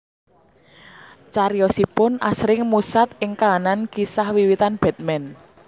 Cariyosipun asring musat ing kahanan kisah wiwitan Batman